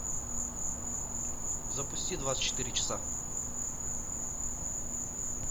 запусти двадцать четыре часа